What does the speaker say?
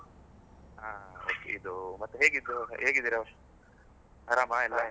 ಹಾ ಇದು ಮತ್ತೆ ಹೇಗಿದ್ದೀರಾ ಆರಾಮ ಎಲ್ಲ?